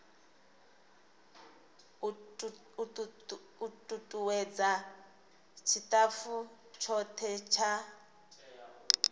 u tutuwedza tshitafu tshothe tsha